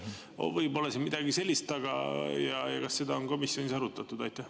Kas võib olla midagi sellist seal taga ja kas seda on komisjonis arutatud?